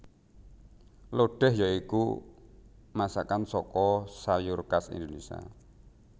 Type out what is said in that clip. Lodéh ya iku masakan saka sayur khas Indonésia